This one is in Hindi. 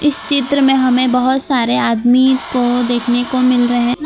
इस चित्र में हमें बहोत सारे आदमी को देखने को मिल रहे ना --